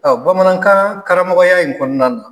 bamanankan karamɔgɔya in kɔnɔnan na